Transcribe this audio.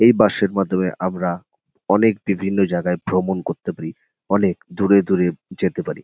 এই বাস -এর মাধ্যমে আমরা অনেক বিভিন্ন জায়গায় ভ্রমণ করতে পারি অনেক দূরে দূরে যেতে পারি।